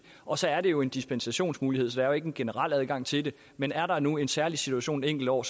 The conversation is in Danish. og så er det jo en dispensationsmulighed der er ikke generel adgang til det men er der nu en særlig situation et enkelt år